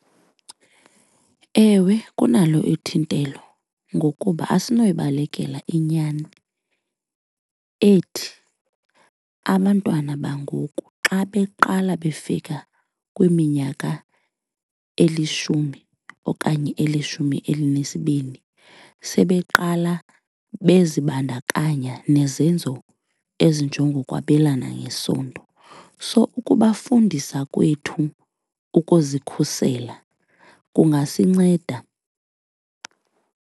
Ewe, kunalo ithintelo ngokuba asinoyibalekela inyani ethi abantwana bangoku xa beqala befika kwiminyaka elishumi okanye elishumi elinesibini, sebeqala bezibandakanya nezenzo ezinjengokwabelana ngesondo. So ukubafundisa kwethu ukuzikhusela kungasinceda.